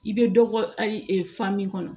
I bɛ dɔ bɔ a fa min kɔnɔ